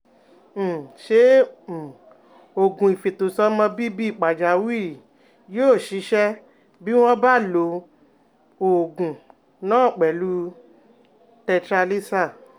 um Ṣé um oògùn ìfètòsọ́mọbíbí pàjáwìrì yóò ṣiṣẹ́ bí wọ́n bá lo um oògùn náà pẹ̀lú 'tetralysal'?